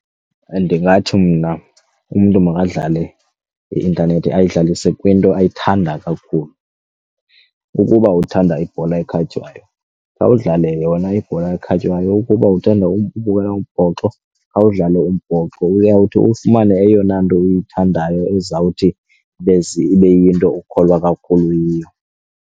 Ndingathi mna umntu makadlale i-intanethi ayihlalise kwinto ayithanda kakhulu. Ukuba uthanda ibhola ekhatywayo khawudlale yona ibhola ekhatywayo ukuba uthanda ubukela umbhoxo khawudlale umbhoxo uyawuthi ufumane eyona nto uyithandayo ezawuthi ibe iyinto okholwa kakhulu yiyo.